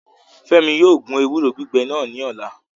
Fẹmi yóò gun ewuro gbigbẹ nas ni ọla